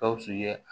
Gawusu ye